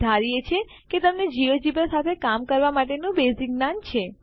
અમે ધારીએ છીએ કે તમને જિયોજેબ્રા સાથે કામ કરવા માટેનું બેઝીક જ્ઞાન છે